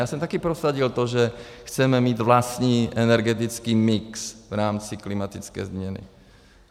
Já jsem taky prosadil to, že chceme mít vlastní energetický mix v rámci klimatické změny.